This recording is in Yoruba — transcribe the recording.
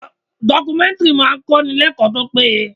Documentary máa ń kọ́ni l'ekoo tó péye.